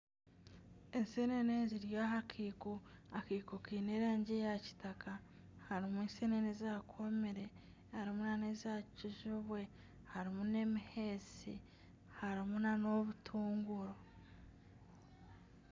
Ensenene ziri aha keiko, akeiko kaine erangi ya kitaka harimu ensenene eza komire harimu neza kijubwe harimu n'emiheesi harimu na obutunguru.